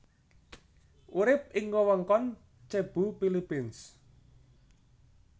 Urip ing wewengkon Cebu Philippines